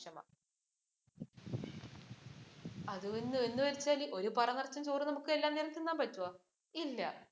അത് എന്ന് വച്ചാൽ ഒരു പറ നിറച്ച് ചോറ് എല്ലാ നേരവും തിന്നാൻ പറ്റുമോ? ഇല്ല